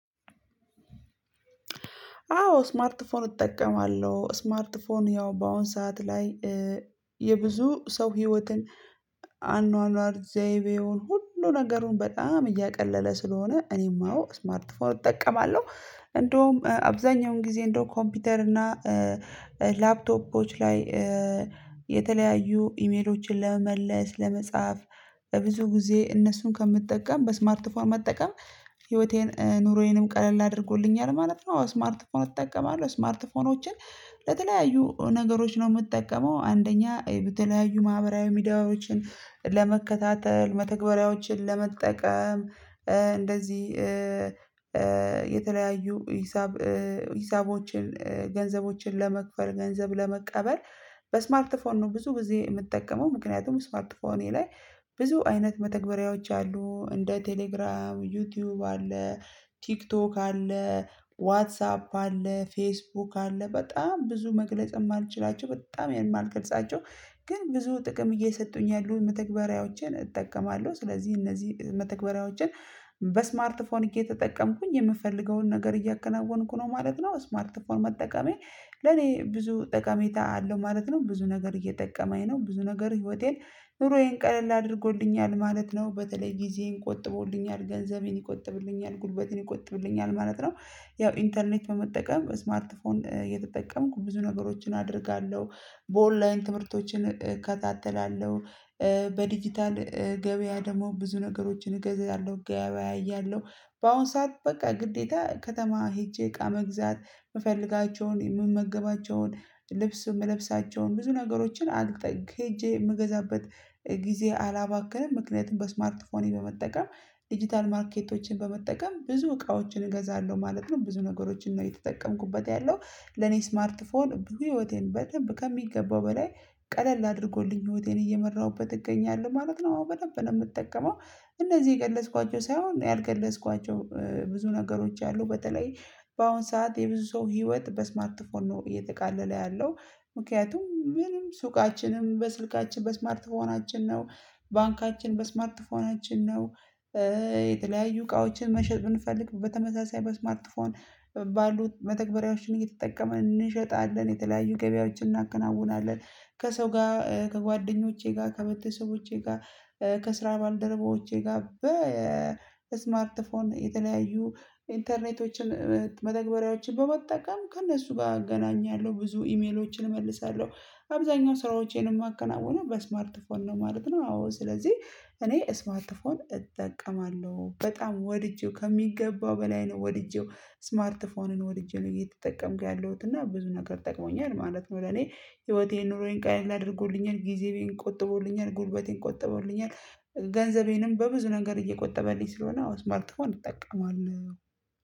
አዎ ስማርት ፎን እጠቀማለሁ ስማርት ፎን ያው በአሁን ሰዓት ላይ የብዙ ሰው ህይወትን አኗኗር ዘይቤውን ሁሉ ነገሩ በጣም እያቀለለ ስለሆነ እኔም አዎ ስማርት ፎን እጠቀማለሁ። እንደውም አብዛኛውን ጊዜ እንደውም ኮምፒውተና ላፕቶፖች ላይ የተለያዩ ኢሜሎችን ለመመለስ ለመጻፍ በብዙ ጊዜ እነሱን ከምትጠቀም በስማርት ፎንም መጠቀም ህይወቴን ኑሮዬንም ቀለል አድርጎልኛል ማለት ነው። ስማርት ፎን እጠቀማለሁ ስማርት ፎኖችን ለተለያዩ ነገሮች ነው የምጠቀመው። አንደኛ በተለያዩ ማህበራዊ ሚዲያዎችን ለመከታተል መተግበሪያዎችን ለመጠቀም እንደዚህ የተለያዩ ሂሳብ ሂሳቦችን ገንዘቦችን ለመክፈል ገንዘብ ለመቀበል በስማርት ፎን ነው ብዙ ጊዜ የምጠቀመው። ምክንያቱም ስማርት ፎን እኔ ላይ ብዙ አይነት መተግበሪያዎች አሉ እንደ ቴሌግራም ዩቲዩብ አለ ቲክቶክ አለ ዋትሳፕ አለ ፌስቡክ አለ በጣም ብዙ መግለጽ ማልችላቸውም በጣም የማልገልጻቸው ግን ብዙ ጥቅም እየሰጡኝ ያሉ መተግበሪያዎችን እጠቀማለሁ ስለዚህ እነዚህ መተግበሪያዎችን በስማርት ፎን እየተጠቀምኩኝ የምፈልገውን ነገር እያከናወንኩ ነው ማለት ነው። ስማርት ፎን መጠቀሜ ለኔ ብዙ ጠቀሜታ አለው ማለት ነው። ብዙ ነገር እየጠቀመኝ ነው ብዙ ነገር ህይወቴን ኑሮዬን ቀለል አድርጎልኛል ማለት ነው በተለይ ጊዜዬን ቆጥቦልኛል ገንዘቤን ይቆጥብልኛል ጉልበቴን ይቆጥብልኛል ማለት ነው። ያው ኢንተርኔት በመጠቀም ስማርት ፎን እየተጠቀምኩ ብዙ ነገሮችን አደርጋለሁ በኦንላይን ትምህርቶችን እከታተላለሁ። በዲጂታል ገበያ ደግሞ ብዙ ነገሮችን እገዛለሁ እገበያያለሁ በአሁን ሰዓት በቃ ግዴታ ከተማ ሄጄ እቃ መግዛት የምፈልጋቸውን የምመገባቸውን ልብስ የምለብሳቸውን ብዙ ነገሮችን አልቀጥልም ሄጄ የምገዛበት ጊዜ አላባክንም ምክንያቱም በስማርት ፎኔ በመጠቀም ዲጂታል ማርኬቶችን በመጠቀም ብዙ እቃዎችን እገዛለሁ ማለት ነው። ብዙ ነገሮችን ነው እየተጠቀምኩበት ያለው ለኔ ስማርት ፎን ብዙ ህይወቴን በደንብ ከሚገባው በላይ ቀለል አድርጎልኝ ህይወቴን እየመራሁበት እገኛለሁ ማለት ነው። አዎ በደንብ ነው የምጠቀመው እነዚህ የገለጽኳቸው ሳይሆን ያልገለጽኳቸው ብዙ ነገሮች አሉ በተለይ በአሁን ሰዓት የብዙ ሰው ህይወት በስማት ፎን ነው እየተቃለለ ያለው ምክንያቱም ምንም ሱቃችንም በስልካችን በስማርት ፎናችን ነው። ባንካችን በስማርት ፎናችን ነው። የተለያዩ እቃዎችን መሸጥ ብንፈልግ በተመሳሳይ በስማርት ፎን ባሉት መተግበሪያዎችን እየተጠቀመን እንሸጣለን የተለያዩ ገበያዎችን እናከናውናለን ከሰው ጋር ከጓደኞቼ ጋር ከቤተሰቦቼ ጋር ከስራ ባልደረባዎቼ ጋር በስማርት ፎን የተለያዩ ኢንተርኔቶችን መተግበሪያዎችን በመጠቀም ከእነሱ ጋር አገናኛለሁ ብዙ ኢሜሎችን እመልሳለሁ። አብዛኛው ስራዎቼን የማከናውነው በስማርት ፎን ነው ማለት ነው። አዎ ስለዚህ እኔ ስማርትፎን እጠቀማለሁ በጣም ወድጄው ከሚገባው በላይ ነው ወድጄው ስማርት ፎንን ወድጄ ነው እየተጠቀምኩ ያለሁት እና ብዙ ነገር ጠቅሞኛል ማለት ነው። ለኔ ህይወቴን ኑሮዬን ቀለል አድርጎልኛል ጊዜዬን ቆጥቦልኛል ጉልበቴን ቆጥቦልኛል ገንዘቤንም በብዙ ነገር እየቆጠበልኝ ስለሆነ አዎ ስማርትፎን እጠቀማለሁ